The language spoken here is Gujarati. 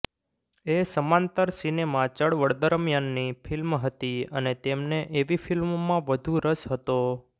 એ સમાંતર સિનેમા ચળવળ દરમિયાનની ફિલ્મ હતી અને તેમને એવી ફિલ્મોમાં વધુ રસ હતો